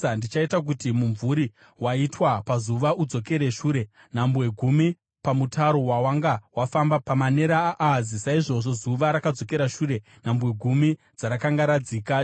Ndichaita kuti mumvuri waitwa pazuva udzokere shure nhambwe gumi pamutaro wawanga wafamba pamanera aAhazi.’ ” Saizvozvo zuva rakadzokera shure nhambwe gumi dzarakanga radzika.